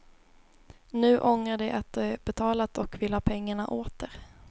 Nu ångrar de att de betalat och vill ha pengarna åter.